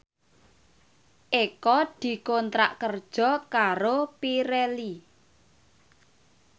Eko dikontrak kerja karo Pirelli